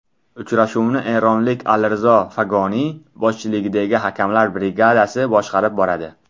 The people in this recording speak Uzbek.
Uchrashuvni eronlik Alirizo Fag‘oniy boshchiligidagi hakamlar brigadasi boshqarib boradi.